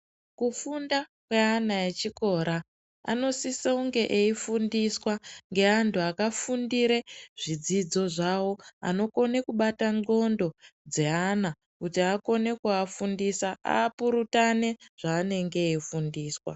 Kufunda kweana echikora anosise kunge eifundiswa ngeantu akafundire zvidzidzo zvawo anokone kubata nclondo dzeana kuti akone kuafundisa apurutane zvanenge eifundiswa